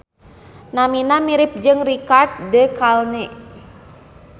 Namina mirip jeung Richard de Calne